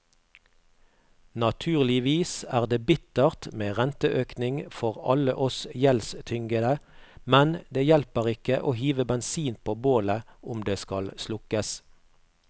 Naturligvis er det bittert med renteøkning for alle oss gjeldstyngede, men det hjelper ikke å hive bensin på bålet om det skal slukkes.